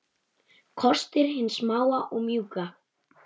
Kostir hins smáa og mjúka